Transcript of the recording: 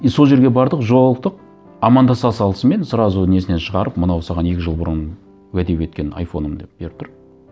и сол жерге бардық жолықтық амандаса салысымен сразу несінен шығарып мынау саған екі жыл бұрын уәде еткен айфоным деп беріп тұр